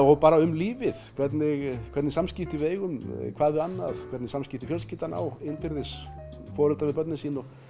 og bara um lífið hvernig hvernig samskipti við eigum hvað við annað hvernig samskipti fjölskyldan á innbyrðis foreldrar við börnin sín og